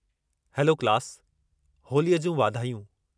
Hello class, होलीअ जूं वाधायूं!